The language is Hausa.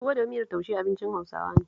Tuwo da miyar taushe abincin Hausawa ne